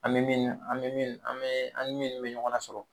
An bɛ min an bɛ min an bɛ an ni minnu bɛ ɲɔgɔn lasɔrɔ.